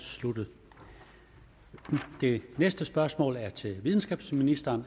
sluttet det næste spørgsmål er til videnskabsministeren